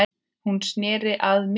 Hún sneri sér að mér.